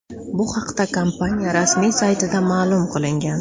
Bu haqda kompaniya rasmiy saytida ma’lum qilingan .